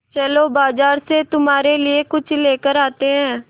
चलो बाज़ार से तुम्हारे लिए कुछ लेकर आते हैं